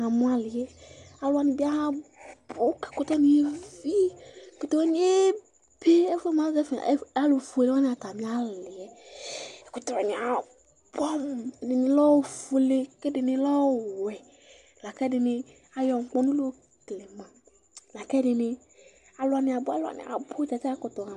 Namu ali Alu wani bɩ abu Ɛkʋtɛ wani evi, ɛkʋtɛ wani ebe Ɛfʋɛ afɔlɛ mʋ alufue wani atamialɩ Ɛkʋtɛ wani abʋɛamu Ɛdini lɛ ofuele, kʋ ɛdini lɛ ɔwɛ, lakʋ ɛdɩnɩ ayɔ ŋkpɔnʋ la yokele ma, lakʋ ɛdɩnɩ alu wani abʋ abʋ